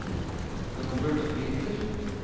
Robert Winther